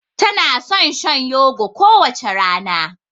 Tana son shan yogo kowace rana.